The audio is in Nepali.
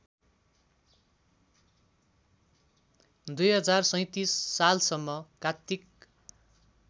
२०३७ सालसम्म कात्तिक